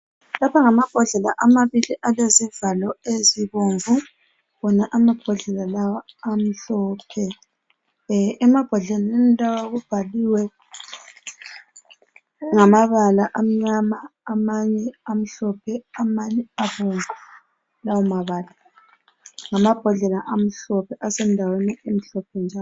Lapha ngamabhodlela amabili alezivalo ezibomvu, wona amabhodlela lawa amhlophe. Emabhodleleni lawa kubhaliwe ngamabala amnyana amanye amhlope, amanye abomvu lawa mabala. Ngamabhodlela amhlophe asendaweni emhlophe njalo.